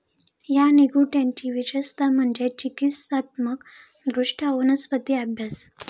या निघंटुची विशेषतः म्हणजे चिकित्सात्मक दृष्ट्या वनस्पती अभ्यास.